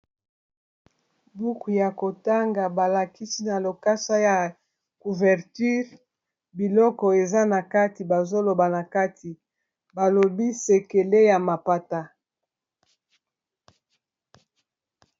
buku ya kotanga balakisi na lokasa ya couverture biloko eza na kati bazoloba na kati balobi sekele ya mapata